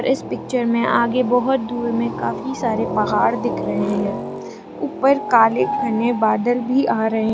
इस पिक्चर में आगे बहोत दूर में काफी सारे पहाड़ दिख रहे हैं ऊपर काले घने बादल भी आ रहे--